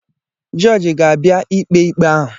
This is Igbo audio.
Jọọjị ga-abịa ikpè ikpé ahụ.